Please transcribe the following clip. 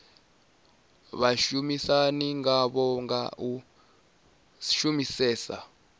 vhashumisani ngavho nga u shumisesa